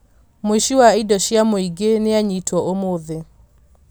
Mũici wa indo cia mũingĩ nianyitwo ũmũthĩ